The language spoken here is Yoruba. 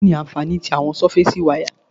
Kí ni àwọn ànfàní tí àwọn súfásí wáyà?